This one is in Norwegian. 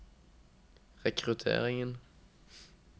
rekrutteringen